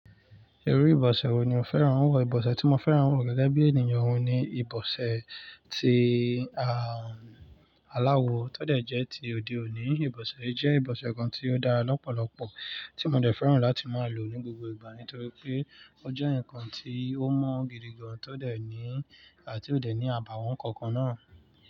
Irú ìbọ̀sẹ̀ wo ni o fẹ́ràn wọ̀? Ìbọ̀sẹ̀ tí mo fẹ́ràn wọ̀ gẹ́gẹ́ bí ènìyàn oun ni ìbọ̀sẹ̀ ti aláwọ tó dẹ̀ jẹ́ ti òde oní. Ìbọ̀sẹ̀ yí jẹ́ ìbọ̀sẹ̀ kan tí ó dára lọ́pọ̀lọpọ̀ tí mo dẹ̀ fẹ́ràn láti máa lò ní gbogbo ìgbà nítorí pé ọ jẹ́ ǹkan tí ó mọ̀ gidi gan ti ò dẹ̀ ní àbàwọ́n kankan náà.